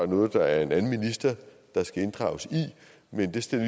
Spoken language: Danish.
noget der er en anden minister der skal inddrages i men det stiller